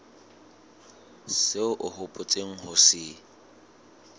seo o hopotseng ho se